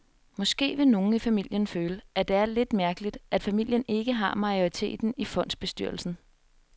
Måske vil nogle i familien føle, at det er lidt mærkeligt, at familien ikke har majoriteten i fondsbestyrelsen.